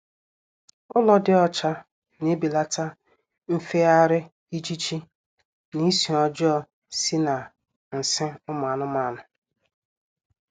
Ụlọ dị ocha na-ebelata nfegharị ijiji na isi ọjọọ si na nsị ụmụ anụmanụ